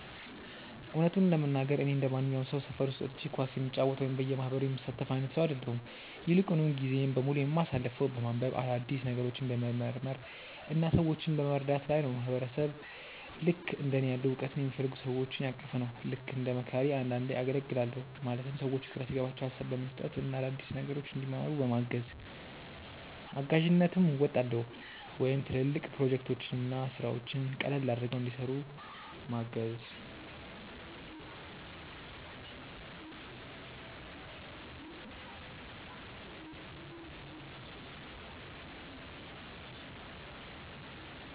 እውነቱን ለመናገር፣ እኔ እንደማንኛውም ሰው ሰፈር ውስጥ ወጥቼ ኳስ የምጫወት ወይም በየማህበሩ የምሳተፍ አይነት ሰው አይደለሁም። ይልቁንም ጊዜዬን በሙሉ የማሳልፈው በማንበብ፣ አዳዲስ ነገሮችን በመመርመር እና ሰዎችን በመርዳት ላይ ነው። ማህበረሰብ ልክእንደ እኔ ያሉ እውቀትን የሚፈልጉ ሰዎችን ያቀፈ ነው። ልክ እንደ መካሪ አንዳንዴ አገልግላለሁ ማለትም ሰዎች ግራ ሲገባቸው ሀሳብ በመስጠት እና አዳዲስ ነገሮችን እንዲማሩ በማገዝ። እጋዥነትም አወጣለሁ ወይም ትልልቅ ፕሮጀክቶችን እና ስራዎችን ቀለል አድርገው እንዲሰሩ ምገዝ።